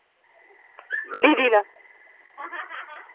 ਬੀਜੀ ਨਾਲ਼